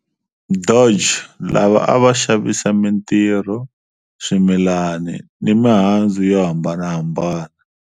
Dutch lava a va xavisa mintirho, swimilani ni mihandzu yo hambanahambana.